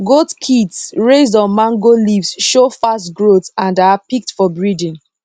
goat kids raised on mango leaves show fast growth and are picked for breeding